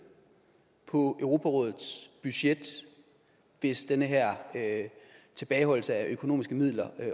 på europarådets budget hvis den her tilbageholdelse af økonomiske midler